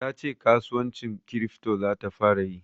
Ta ce kasuwancin kirifto za ta fara yi.